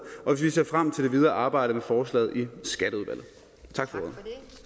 og vi ser frem til det videre arbejde med forslaget i skatteudvalget tak for